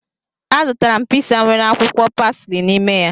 Azụtara m piza nwere akwụkwọ pasli n'ime ya